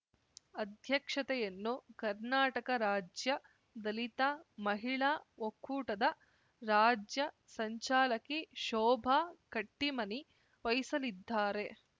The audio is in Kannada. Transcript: ಅಧ್ಯಕ್ಷತೆಯನ್ನು ಕರ್ನಾಟಕ ರಾಜ್ಯ ದಲಿತ ಮಹಿಳಾ ಒಕ್ಕೂಟದ ರಾಜ್ಯ ಸಂಚಾಲಕಿ ಶೋಭಾ ಕಟ್ಟಿಮನಿ ವಹಿಸಲಿದ್ದಾರೆ